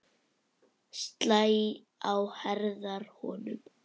Slæ á herðar honum.